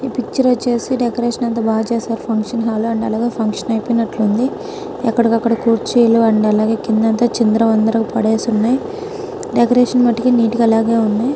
ఏ picture వచ్చేసి decoration అంతా బాగా చేశారు అర్జున్ అయిపోయినట్లుంది ఎక్కడికి అక్కడ కుర్చీలు అండ్ అలాగే కింద చిందరవందర గా పడేసి ఉన్నాయి డెకరేషన్ మటుకు నీటు గా అలాగే ఉన్నాయి